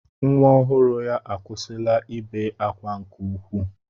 Nwa ọhụrụ ya akwụsịla ibe akwa nke ukwuu.